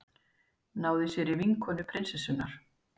Náði sér í vinkonu prinsessunnar